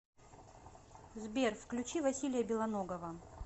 сбер включи василия белоногова